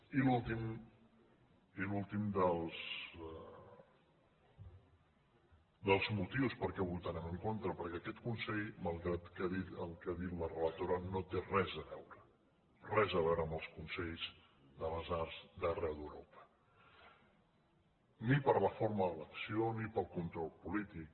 i l’últim dels motius perquè votarem en contra perquè aquest consell malgrat el que ha dit la relatora no té res a veure res a veure amb els consells de les arts d’arreu d’europa ni per la forma d’elecció ni pel control polític